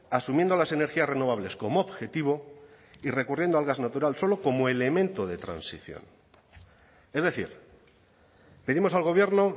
asumiendo las energías renovables como objetivo y recurriendo al gas natural solo como elemento de transición es decir pedimos al gobierno